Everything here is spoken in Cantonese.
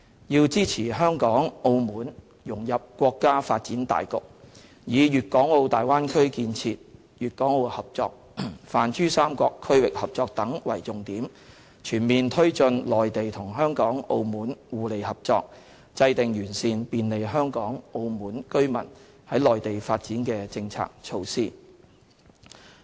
要支持香港、澳門融入國家發展大局，以粵港澳大灣區建設、粵港澳合作、泛珠三角區域合作等為重點，全面推進內地同香港、澳門互利合作，制定完善便利香港、澳門居民在內地發展的政策措施"。